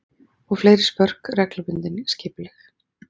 Og fleiri spörk, reglubundin, skipuleg.